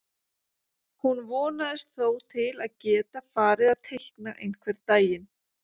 Hún vonist þó til að geta farið að teikna einhvern daginn.